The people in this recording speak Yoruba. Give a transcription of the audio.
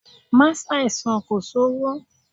Má ṣàìsàn kò sówó!